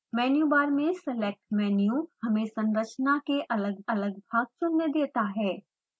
मेनू bar में select menu हमें संरचना के अलगअलग भाग चुनने देता है